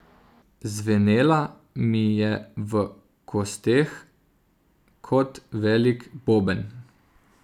Zvenela mi je v kosteh kot velik boben.